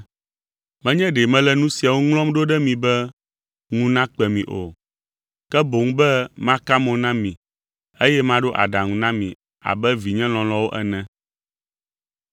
Menye ɖe mele nu siawo ŋlɔm ɖo ɖe mi be ŋu nakpe mi o, ke boŋ be maka mo na mi eye maɖo aɖaŋu na mi abe vinye lɔlɔ̃awo ene.